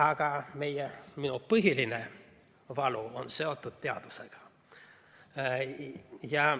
Aga minu põhiline valu on seotud teadusega.